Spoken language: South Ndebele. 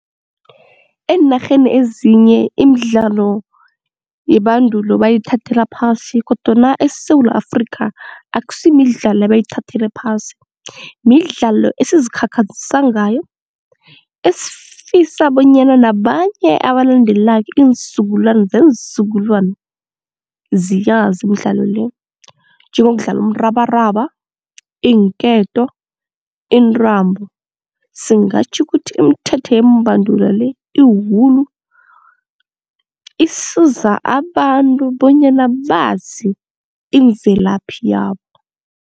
Eenarheni ezinye imidlalo yebandulo bayithathela phasi kodwana eSewula Afrikha akusi midlalo abayithathela phasi, midlalo esizikhakhazisa ngayo esifisa bonyana nabanye abalandelako iinzukulwani zeenzukulwana ziyazi imidlalo le. Njengokudlala umrabaraba, iinketo, intambo. Singatjho ukuthi imithetho yembanduli le, iwulu isiza abantu bonyana bazi imvelaphi yabo.